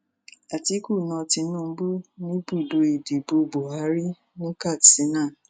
àtiku na tinubu níbùdó ìdìbò buhari ní katsina